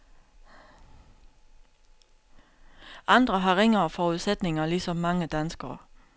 Andre har ringere forudsætninger ligesom mange danskere.